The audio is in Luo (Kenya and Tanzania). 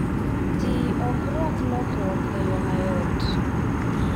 Ji ok rwak lokruok e yo mayot.